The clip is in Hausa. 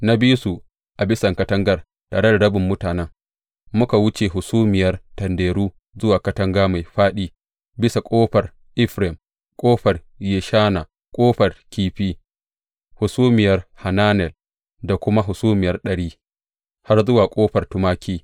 Na bi su a bisan katangar, tare da rabin mutanen, muka wuce Hasumiya Tanderu zuwa Katanga Mai Faɗi, bisa Ƙofar Efraim, Ƙofar Yeshana, Ƙofar Kifi, Hasumiyar Hananel da kuma Hasumiya ɗari, har zuwa Ƙofar Tumaki.